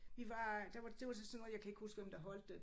Vi var der var det var til sådan noget jeg kan ikke huske hvem der holdte det